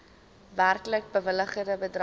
werklik bewilligde bedrag